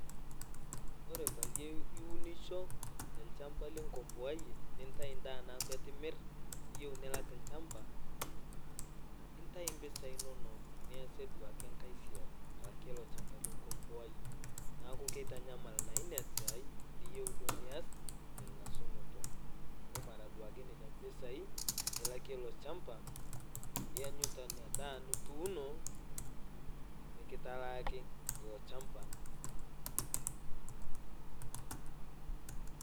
Ore peyie iunisho telchamba linkombowaiye nintai indaa naaku eitu imir, niyeu nilak ilchamba ,nintai impisai inono niasie duake enkae siai alakie ilo ilchamba linkombowaiye amu keitanyamal naa ina siai niyeu duo nias tengasunoto amu mara duake nenia imbisai ilakie ilo ilchamba, ianyita inadaa nituuno mikitalaaki ilo ilchamba.